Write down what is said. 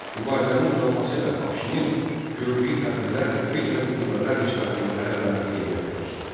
Mübarizənin uzanması və Afşinin gördüyü tədbirlər tədricən qüvvələr nisbətini ərəblərin xeyrinə dəyişdi.